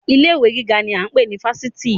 Ilé ìwé gíga ni a ń pè ní Fáṣítì